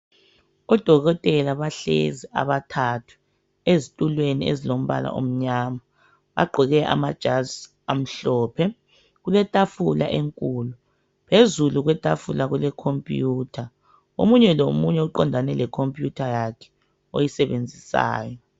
Odokotela bahlezi abathathu ezitulweni ezilombala omnyama bagqoke amajazi amhlophe. Kuletafula enkulu phezulu kwetafula kulekhompuyutha omunye lomunye uqondane lekhomputha yakhe oyisebenzisayo.